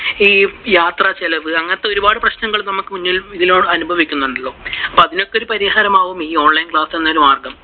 ഈ യാത്രാച്ചിലവ് അങ്ങനത്തെ ഒരുപാടു പ്രശ്നങ്ങള് നമുക്കു ഇതിലൂടെ അനുഭവിക്കുന്നുണ്ടല്ലോ. അപ്പോ അതിനൊക്കെ ഒരു പരിഹാരം ആവും ഈ online class എന്ന മാർഗം.